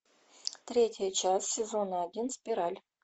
третья часть сезона один спираль